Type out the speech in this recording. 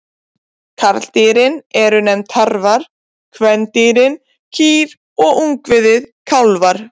Karldýrin eru nefnd tarfar, kvendýrin kýr og ungviðið kálfar.